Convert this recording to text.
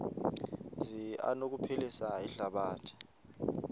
zi anokuphilisa ihlabathi